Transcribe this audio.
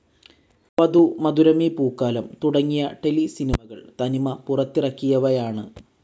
വധു, മധുരമീ പൂക്കാലം തുടങ്ങിയ ടെലിസിനിമകൾ തനിമ പുറത്തിറക്കിയവയാണ്.